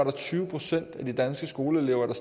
er tyve procent af de danske skoleelever der